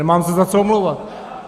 Nemám se za co omlouvat.